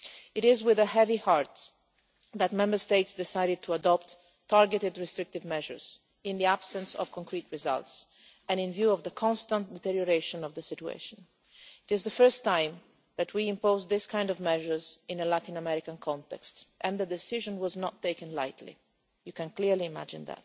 It was with a heavy heart that Member States decided to adopt targeted restrictive measures, in the absence of concrete results and in view of the constant deterioration of the situation. It is the first time that we have imposed measures of this kind in a Latin American context, and the decision was not taken lightly, as you can imagine.